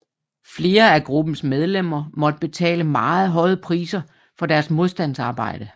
Flere af gruppens medlemmer måtte betale meget høje priser for deres modstandsarbejde